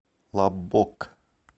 лаббок